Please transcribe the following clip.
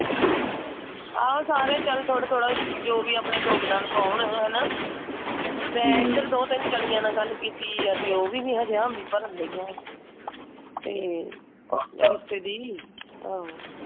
ਆਹੋ ਸਾਰੇ ਚਲ ਥੋੜਾ ਥੋੜਾ ਜੋ ਵੀ ਆਪਣਾ ਯੋਗਦਾਨ ਪਾਉਣ। ਹੈ ਨਾ? ਮੈਂ ਇਧਰ ਦੋ ਟੀਨ ਜਾਣੀਆਂ ਨਾਲ ਗੱਲ ਕੀਤੀ ਆ। ਤੇ ਉਹ ਵੀ ਨੀ ਹਜੇ ਹਾਮੀ ਭਰਨ ਡਈਆਂ। ਤੇ, ਆ ਰਿਸ਼ਤੇ ਦੀ ਆਹੋ।